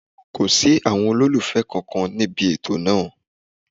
Kò sí àwọn olólùfẹ́ kankan níbi ètò náà.